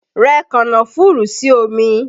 Rẹ kànnáfùrù sí omi!